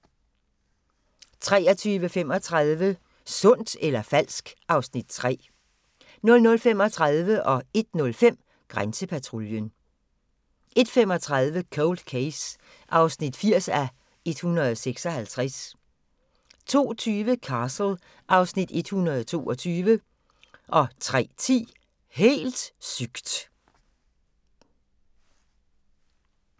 23:35: Sundt eller falsk? (Afs. 3) 00:35: Grænsepatruljen 01:05: Grænsepatruljen 01:35: Cold Case (80:156) 02:20: Castle (Afs. 122) 03:10: Helt sygt!